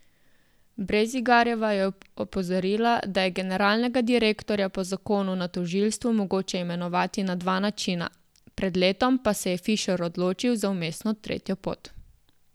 Brezigarjeva je opozorila, da je generalnega direktorja po zakonu na tožilstvu mogoče imenovati na dva načina, pred letom pa se je Fišer odločil za vmesno tretjo pot.